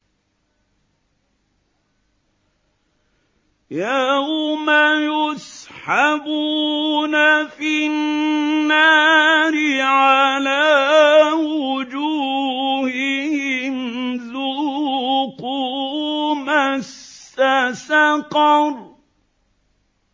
يَوْمَ يُسْحَبُونَ فِي النَّارِ عَلَىٰ وُجُوهِهِمْ ذُوقُوا مَسَّ سَقَرَ